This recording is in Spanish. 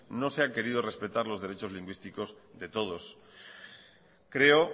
no se han querido respetar los derechos lingüísticos de todos creo